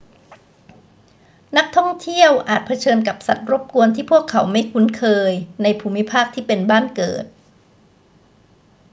นักท่องเที่ยวอาจเผชิญกับสัตว์รบกวนที่พวกเขาไม่คุ้นเคยในภูมิภาคที่เป็นบ้านเกิด